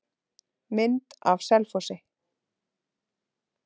Mynd af Selfossi.